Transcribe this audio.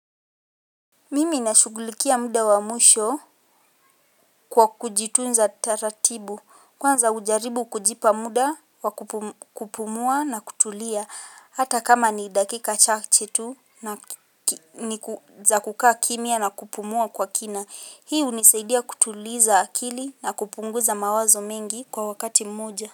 Mimi nashughulikia muda wamwisho kwa kujitunza taratibu. Kwanza hujaribu kujipa muda wakupumua na kutulia. Hata kama ni dakika chache tu za kukaa kimya na kupumua kwa kina. Hii hunisaidia kutuliza akili na kupunguza mawazo mengi kwa wakati moja.